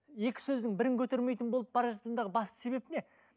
екі сөздің бірін көтермейтін болып бара жатқандағы басты себеп не